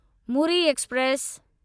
Muri express